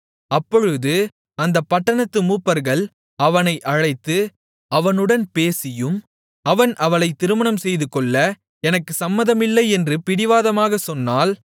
அப்பொழுது அந்தப் பட்டணத்து மூப்பர்கள் அவனை அழைத்து அவனுடன் பேசியும் அவன் அவளைத் திருமணம் செய்துகொள்ள எனக்குச் சம்மதமில்லை என்று பிடிவாதமாகச் சொன்னால்